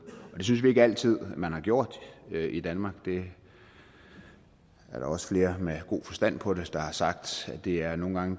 det synes vi ikke altid man har gjort i danmark det er der også flere med god forstand på det der har sagt det er nogle gange